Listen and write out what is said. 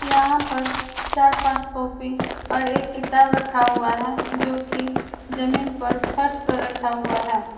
यहां पर चार पांच कॉपी और एक किताब रखा हुआ है जो की जमीन पर फर्श पर रखा हुआ है।